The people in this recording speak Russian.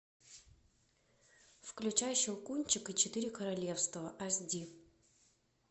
включай щелкунчик и четыре королевства аш ди